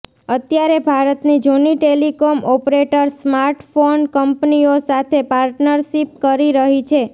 અત્યારે ભારતની જૂની ટેલિકોમ ઓપરેટર્સ સ્માર્ટફોન કંપનીઓ સાથે પાર્ટનરશિપ કરી રહી છે